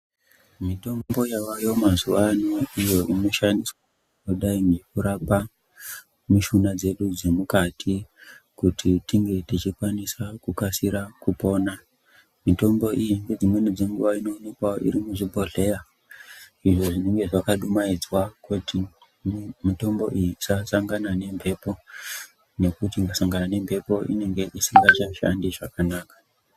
Mitombo yavayo mazuvano iyo inoshandiswa kudai ngekurapa mushuna dzedu dzemukati kuti tinge tichikwanisa kukasira kupona. Mitombo iyi ngedzimweni dzenguva inomuka iri zvibhohleya izvi zvinenge zvakadumhaidzwa kuti mitombo iyi isasangana nembepo nekuti kusangana nembepo inenge isingachashandi zvakanaka.